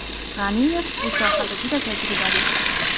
G‘aniyev bu sohada juda tajribali.